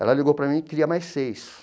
Ela ligou para mim e queria mais seis.